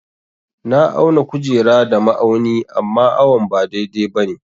Na auna kujera da ma'auni amma awon ba dai-dai ba ne.